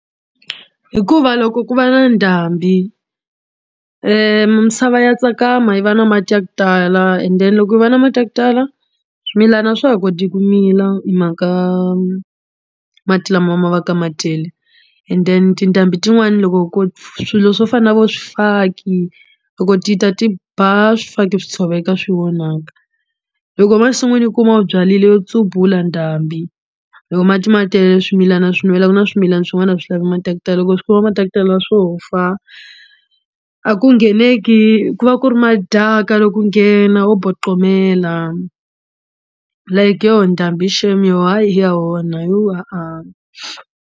Hikuva loko ku va na ndhambi misava ya tsakama yi va na mati ya ku tala and then loko yi va na mati ya ku tala swimilana a swa ha koti ku mila hi mhaka mati lama ma va ka ma tele and then tindhambi tin'wani loko ko swilo swo fana na vo swifaki loko ti ta ti ba swifaki swi tshoveka swi onhaka loko emasin'wini u kuma u byarile yo tsuvula ndhambiloko mati ma tele swimilana swi ku na swimilana swin'wana a swi lavi mati ya ku tala loko swi kuma mati ya ku tala swo fa a ku ngheneki ku va ku ri madaka loko u nghena wo boqomela like yo ndhambi shame yo hayi ya onha yo .